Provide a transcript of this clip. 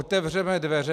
Otevřeme dveře.